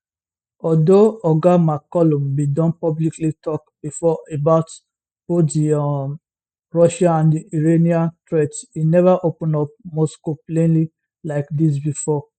although oga mccallum bin don publicly tok before about both di um russian and iranian threats e neva open up moscow plainly like dis bifor